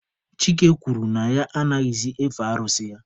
Chike kwuru na ya anaghịzị efe arụsị ya.